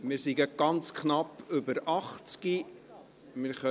Wir sind gerade ganz knapp über 80.